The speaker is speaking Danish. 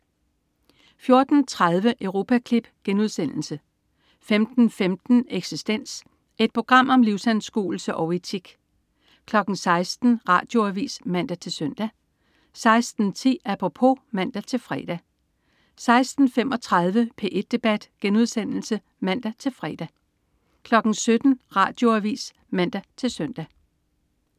14.30 Europaklip* 15.15 Eksistens. Et program om livsanskuelse og etik 16.00 Radioavis (man-søn) 16.10 Apropos (man-fre) 16.35 P1 debat* (man-fre) 17.00 Radioavis (man-søn)